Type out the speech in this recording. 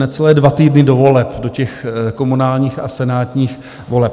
Necelé dva týdny do voleb, do těch komunálních a senátních voleb.